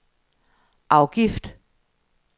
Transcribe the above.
afgift